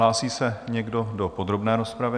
Hlásí se někdo do podrobné rozpravy?